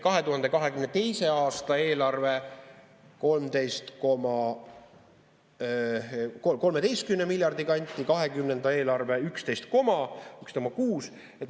2022. aasta eelarve 13 miljardi kanti, 2020. aasta eelarve 11,6.